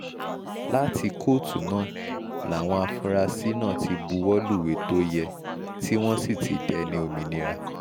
láti kóòtù náà làwọn afurasí náà ti buwọ́ lúwẹ̀ tó yẹ tí wọ́n sì ti dẹni òmìnira